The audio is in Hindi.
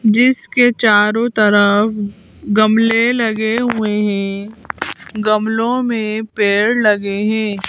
जिसके चारों तरफ गमले लगे हुए हैं गमले में पेड़ लगे हैं।